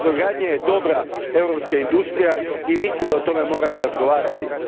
Brodogradnja je dobra europska industrija i mislim da o tome moramo razgovarati.